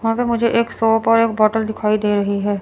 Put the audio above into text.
यहां पे मुझे एक शॉप और एक बॉटल दिखाई दे रही है।